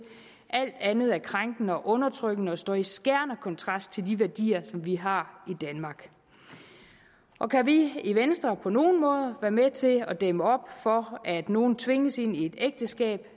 alt andet er krænkende og undertrykkende og står i skærende kontrast til de værdier vi har i danmark og kan vi i venstre på nogen måde være med til at dæmme op for at nogen tvinges ind i et ægteskab